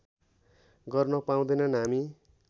गर्न पाउँदैनन् हामी